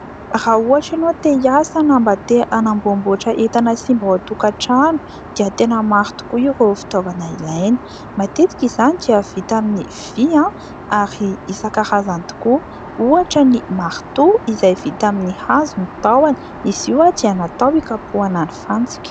Raha ohatra ianao te hi asa na mba te hanamboam-boatra entana simba ao antokatrano dia tena maro tokoa ireo fitaovana ilaina; matetika izany dia vita amin'ny vy ary isankarazany tokoa ohatra ny maritoa izay vita amin'ny hazo ny tahony; izy io dia natao ikapohana ny fantsika.